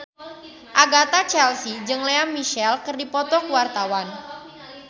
Agatha Chelsea jeung Lea Michele keur dipoto ku wartawan